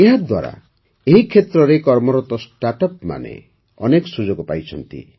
ଏହାଦ୍ୱାରା ଏହି କ୍ଷେତ୍ରରେ କର୍ମରତ ଷ୍ଟାର୍ଟଅପ୍ମାନେ ଅନେକ ସୁଯୋଗ ପାଇଛନ୍ତି